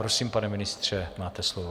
Prosím, pane ministře, máte slovo.